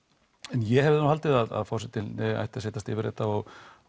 en ég hefði haldið að forsetinn ætti að setjast yfir þetta og